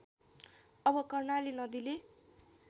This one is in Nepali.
अब कर्णाली नदीले